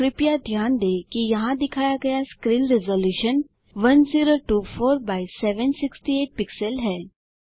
कृपया ध्यान दें कि यहाँ दिखाया गया स्क्रीन रेज़लूशन 1024 एक्स 768 पिक्सल है